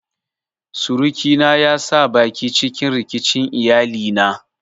Surukina ya sa baki cikin rikicin iyalina.